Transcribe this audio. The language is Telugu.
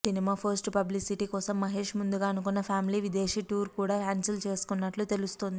సినిమా పోస్ట్ పబ్లిసిటీ కోసం మహేష్ ముందుగా అనుకున్న ఫ్యామిలీ విదేశీ టూర్ కూడా క్యాన్సిల్ చేసుకున్నట్లు తెలుస్తోంది